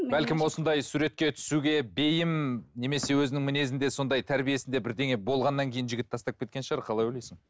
бәлкім осындай суретке түсуге бейім немесе өзінің мінезінде сондай тәрбиесінде бірдеңе болғаннан кейін жігіт тастап кеткен шығар қалай ойлайсың